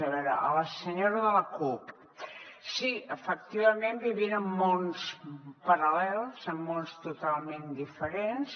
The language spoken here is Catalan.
a veure a la senyora de la cup sí efectivament vivim en mons paral·lels en mons totalment diferents